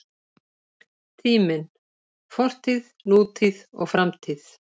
Tíminn: Fortíð, nútíð og framtíð.